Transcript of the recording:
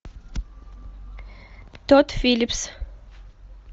тодд филлипс